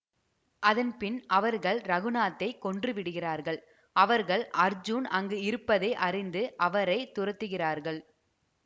அதன் பின் அவர்கள் இரகுநாத்தைக் கொன்று விடுகிறார்கள் அவர்கள் அர்ஜுன் அங்கு இருப்பதை அறிந்து அவரை துரத்துகிறார்கள்